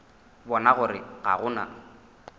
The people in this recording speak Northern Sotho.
bona gore ga go na